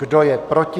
Kdo je proti?